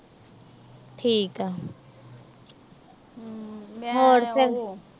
ਠੀਕ ਆ। ਹੋਰ ਫਿਰ।